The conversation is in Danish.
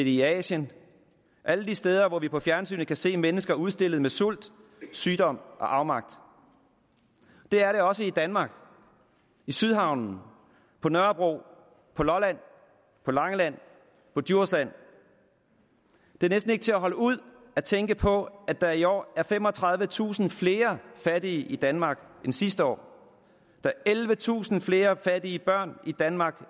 i asien alle de steder hvor vi på fjernsynet kan se mennesker udstillet med sult sygdom og afmagt det er det også i danmark i sydhavnen på nørrebro på lolland på langeland på djursland det er næsten ikke til at holde ud at tænke på at der i år er femogtredivetusind flere fattige i danmark end sidste år der er ellevetusind flere fattige børn i danmark